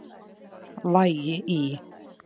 Vægi í